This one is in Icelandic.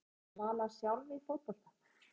En var Svala sjálf í fótbolta?